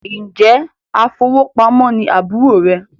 Njẹ afowópamọ́ ní àbúrò rẹ